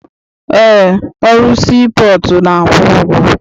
Eé, ọrụ sii pọọtụ na-akwụ ụgwọ.